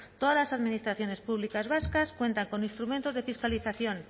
todas las administraciones públicas vascas cuentan con instrumentos de fiscalización